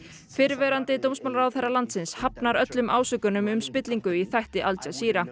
fyrrverandi dómsmálaráðherra landsins hafnar öllum ásökunum um spillingu í þætti Al